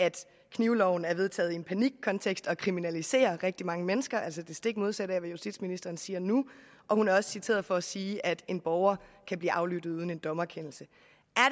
knivloven er vedtaget i en panikkontekst og kriminaliserer rigtig mange mennesker altså det stik modsatte af hvad justitsministeren siger nu og hun er også citeret for at sige at en borger kan blive aflyttet uden en dommerkendelse